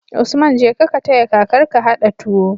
Usman jeka ka taya kakar ka hada tuwo